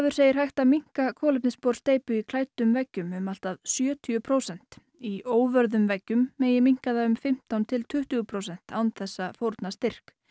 segir hægt að minnka kolefnissp or steypu í klæddum veggjum um allt að sjötíu prósent í óvörðum veggjum megi minnka það um fimmtán til tuttugu prósent án þess að fórna styrk